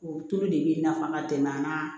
O tulu de bɛ nafa ka tɛmɛ an kan